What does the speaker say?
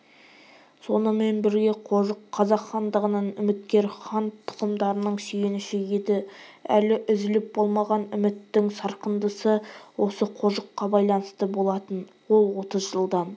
сонымен бірге қожық қазақ хандығынан үміткер хан тұқымдарының сүйеніші еді әлі үзіліп болмаған үміттің сарқындысы осы қожыққа байланысты болатын ол отыз жылдан